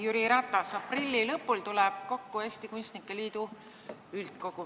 Jüri Ratas, aprilli lõpul tuleb kokku Eesti Kunstnike Liidu üldkogu.